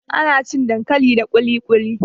Ana cin dankali da ƙuluƙuli.